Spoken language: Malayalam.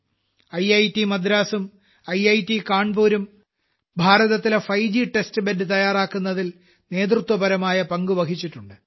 ഐറ്റ് മദ്രാസും ഐറ്റ് കാൻപുറും ഭാരതത്തിലെ 5 ഗ് Textലെ ബെഡ് തയ്യാറാക്കുന്നതിൽ നേതൃത്വപരമായ പങ്കുവഹിച്ചിട്ടുണ്ട്